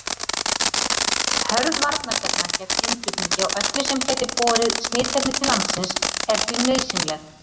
Hörð varnarstefna gegn innflutningi á öllu sem gæti borið smitefni til landsins er því nauðsynleg.